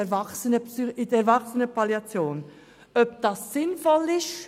Es soll geprüft werden, ob das sinnvoll ist.